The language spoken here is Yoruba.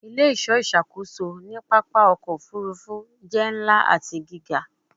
Ile-iṣọ iṣakoso ni papa ọkọ ofurufu jẹ nla ati giga